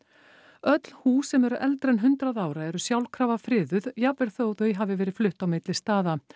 öll hús sem eru eldri en hundrað ára eru sjálfkrafa friðuð jafnvel þótt þau hafi verið flutt á milli staða